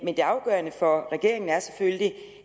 det afgørende for regeringen er selvfølgelig